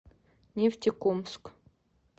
нефтекумск